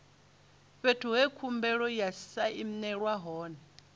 fhethu he khumbelo ya sainelwa hone